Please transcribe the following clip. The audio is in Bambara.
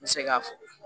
N bɛ se k'a fɔ